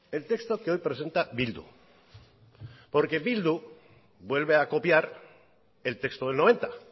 el texto que hoy presenta bildu porque bildu vuelve a copiar el texto del noventa